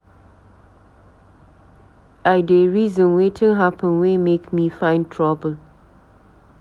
I dey reason wetin happen wey make me find trouble